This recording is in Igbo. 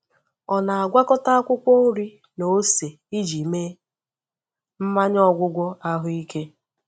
Ọ na-agwakọta akwụkwọ nri na ose iji mee mmanya ọgwụgwọ ahụike.